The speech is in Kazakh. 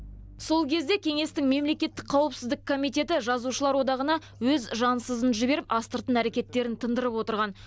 сол кезде кеңестің мемлекеттік қауіпсіздік комитеті жазушылар одағына өз жансызын жіберіп астыртын әрекеттерін тындырып отырған